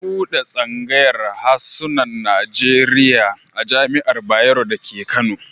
An buɗe tsangayar hasunan Najeriya a Jami'ar Bayero dake Kano.